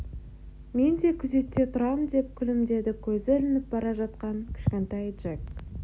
мен де күзетте тұрам деп күлімдеді көзі ілініп бара жатқан кішкентай джек